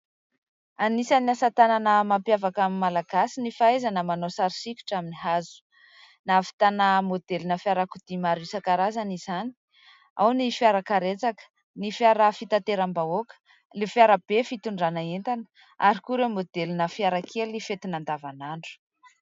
Anisany asa tanana mampiavakan'ny malagasy ny fahaizana manao sary sikotra amin'ny hazo. Nahavitana modelina fiarakodia maro isan-karazany izany, ao ny fiarakaretsaka, ny fiara fitateram-bahoaka, ny fiara be fitondrana entana ary koa ireo modelina fiarakely fentina andavanandro.